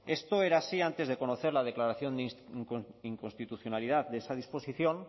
esto era así antes de conocer la declaración de inconstitucionalidad de esa disposición